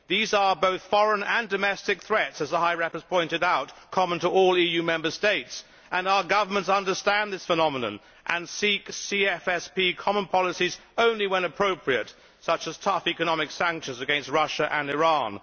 These are both foreign and domestic threats, as the High Representative has pointed out, common to all EU Member States, and our governments understand this phenomenon and seek CFSP common policies only when appropriate such as tough economic sanctions against Russia and Iran.